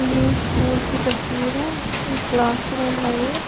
ये एक स्कूल की तस्वीर है एक क्लास रूम है ये।